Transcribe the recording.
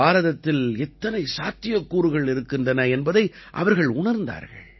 பாரதத்தில் எத்தனை சாத்தியக்கூறுகள் இருக்கின்றன என்பதை அவர்கள் உணர்ந்தார்கள்